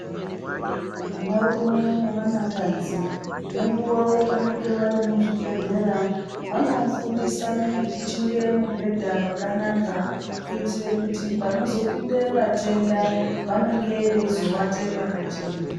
Vanarume nevanakadzi nengeuva yavanenge vari muzvibhedhleya vanofundisane kuchinge mubhedha kwakanaka kuitire kuti panozopinde vatenda vanenge veizowate pakachena.